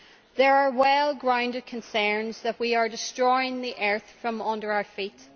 There are well grounded concerns that we are destroying the earth from under our feet.